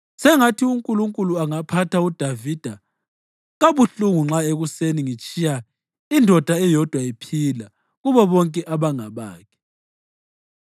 Sengathi uNkulunkulu angaphatha uDavida kabuhlungu nxa ekuseni ngitshiya indoda eyodwa iphila kubo bonke abangabakhe!”